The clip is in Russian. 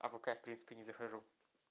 а в вк в принципе не захожу